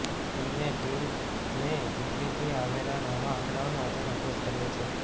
તેમની ટીમે ઈટલીથી આવેલા નવા આંકડાઓના આધારે અભ્યાસ કર્યો છે